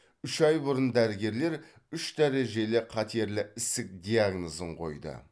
үш ай бұрын дәрігерлер үш дәрежелі қатерлі ісік диагнозын қойды